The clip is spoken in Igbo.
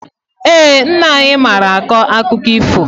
Ee, nne anyị mara akọ akụkọ ifo.